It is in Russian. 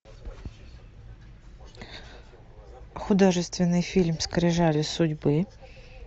художественный фильм скрижали судьбы